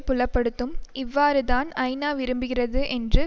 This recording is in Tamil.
புலப்படுத்தும் இவ்வாறுதான் ஐநாவிரும்புகிறது என்று